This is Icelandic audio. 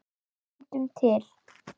Fundum til.